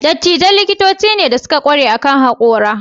Dietitian likitoci ne da suka ƙware akan haƙora.